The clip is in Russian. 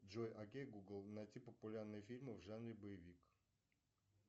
джой окей гугл найти популярные фильмы в жанре боевик